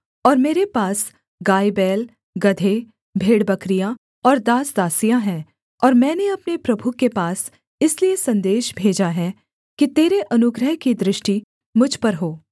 और मेरे पास गायबैल गदहे भेड़बकरियाँ और दासदासियाँ हैं और मैंने अपने प्रभु के पास इसलिए सन्देश भेजा है कि तेरे अनुग्रह की दृष्टि मुझ पर हो